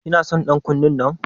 Kina son ɗan kunne ɗinnan?